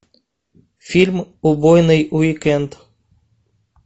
фильм убойный уикенд